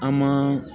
An ma